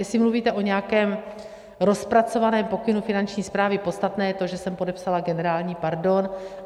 Jestli mluvíte o nějakém rozpracovaném pokynu Finanční správy, podstatné je to, že jsem podepsala generální pardon.